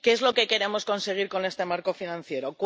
¿Qué es lo que queremos conseguir con este marco financiero?